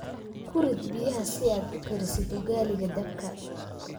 Ku rid biyaha si aad u karisid ugaliga dabka